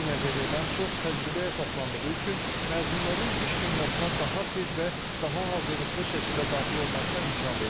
Bu nəzəriyyədən çox təcrübəyə əsaslandığı üçün məzunların iş dünyasına daha tez və daha hazırlıqlı şəkildə daxil olmasına imkan verir.